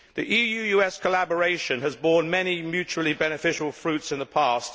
EU US collaboration has borne many mutually beneficial fruits in the past.